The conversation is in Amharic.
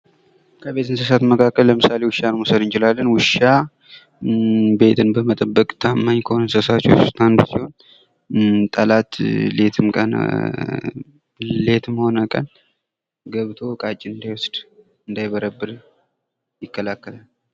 ከቤት እንስሳት መካከል ለምሳሌ ዉሻን መውሰድ እንችላለን። ዉሻ ቤትን በመጠበቅ ታማኝ ከሆኑ እንስሳትዎች ዉስጥ አንዱ ሲሆን ጠላት ሌትም ቀን...... ሌትም ሆነ ቀን ገብቶ እቃችንን እንዳይዎስድ፤ እንዳይበረብር ይከላከላል።